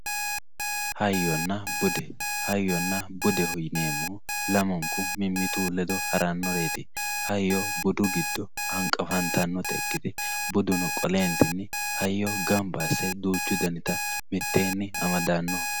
Hayyonna budde, hayyonna buddeho yineemohu lamunku mimitu ledo haranoreti hayyo budu giddo hanqafantanotta ikkite buduno qoleenitini hayyo duuchu danitta gamba asse mitteenni amadano